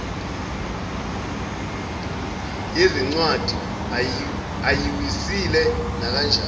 yezincwadi ayiwisile nakanjani